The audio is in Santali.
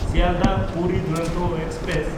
ᱥᱤᱭᱟᱞᱫᱟᱦ–ᱯᱩᱨᱤ ᱫᱩᱨᱚᱱᱛᱚ ᱮᱠᱥᱯᱨᱮᱥ